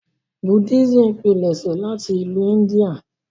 Buddhism pilẹṣẹ láti ìlu India.